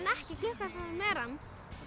ekki klukka þann sem er ann